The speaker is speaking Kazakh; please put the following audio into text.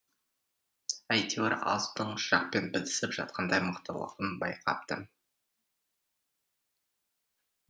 әйтеуір азудың жақпен бітісіп жатқандай мықтылығын байқапты